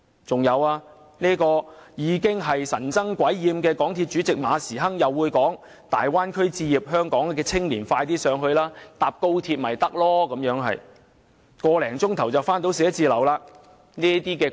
此外，神憎鬼厭的港鐵公司主席馬時亨又表示，香港青年可到大灣區置業，乘搭高鐵往返辦公室只須1個多小時，這說法完全是"堅離地"的，主席......